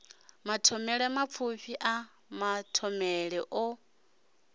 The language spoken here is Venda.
mathomele mapfufhi a mathomele o